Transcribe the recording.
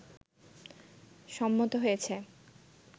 সম্মত হয়েছে